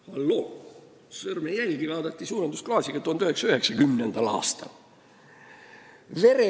Halloo, sõrmejälgi vaadati suurendusklaasiga ka 1990. aastal!